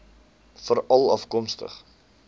veralafkomstig